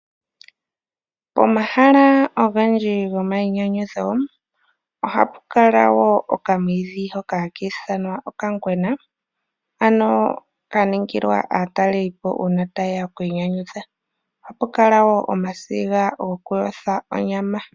Omahala ogendji gomayinyanyudho ohapu kala woo okamwiidhi hoka hakiithanwa okangwena ano kaningilwa aatalelipo uuna ta yeya okwiinyanudha, ohapu kala woo omasiga goku yotha onyama.